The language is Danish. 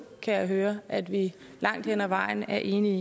kan jeg høre at vi langt hen ad vejen er enige